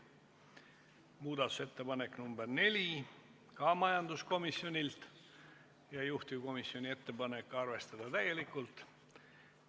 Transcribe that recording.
Ka muudatusettepanek nr 4 on majanduskomisjonilt ja juhtivkomisjoni ettepanek on arvestada seda täielikult.